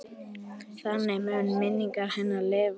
Þannig mun minning hennar lifa.